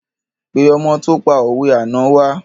Pé ọmọ tó pa òwe àná wa